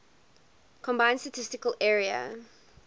combined statistical area